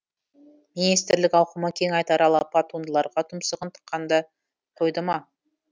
министрлік ауқымы кең айтары алапат туындыларға тұмсығын тыққанды қойды ма